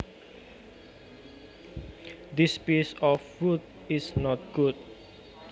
This piece of wood is not good